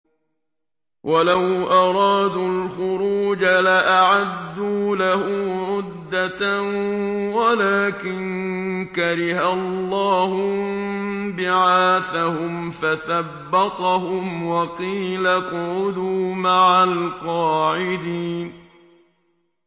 ۞ وَلَوْ أَرَادُوا الْخُرُوجَ لَأَعَدُّوا لَهُ عُدَّةً وَلَٰكِن كَرِهَ اللَّهُ انبِعَاثَهُمْ فَثَبَّطَهُمْ وَقِيلَ اقْعُدُوا مَعَ الْقَاعِدِينَ